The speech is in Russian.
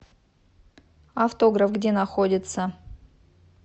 автограф где находится